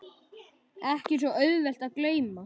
Ekki svo auðvelt að gleyma